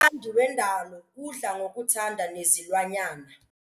Umthandi wendalo udla ngokuthanda nezilwanyana.